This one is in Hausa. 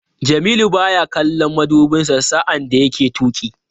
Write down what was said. Jamilu baya kallon madubinsa sa'an da yake tuki.